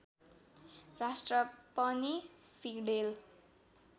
राष्ट्र पनि फिडेल